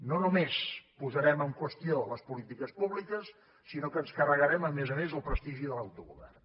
no només posarem en qüestió les polítiques públiques sinó que ens carregarem a més a més el prestigi de l’autogovern